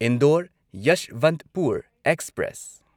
Indore Yeshwantpur express